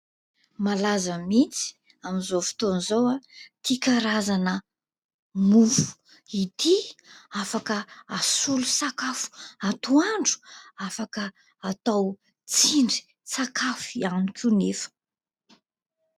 Malaza mihitsy amin'izao fotoana izao ahy ity karazana mofo ity afaka hasolo sakafo atoandro afaka atao tsindrin-tsakafo ihany koa anefa.